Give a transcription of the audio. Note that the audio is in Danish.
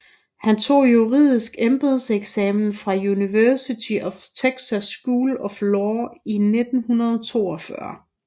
Han tog juridisk embedseksamen fra University of Texas School of Law i 1942